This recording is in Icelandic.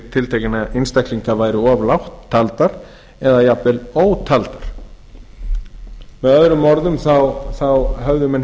tiltekinna einstaklinga væru of lágt taldar eða ótaldar með öðrum orðum höfðu menn